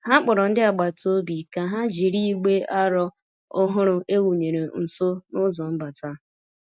Ha kpọrọ ndị agbata obi ka ha jiri igbe aro ọhụrụ e wụnyere nso n'ụzọ mbata.